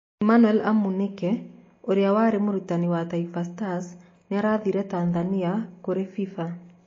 Emmanuel Amunike ũrĩa warĩ mũrutani wa Taifa stars nĩarathitire Tathania kũrĩ fifa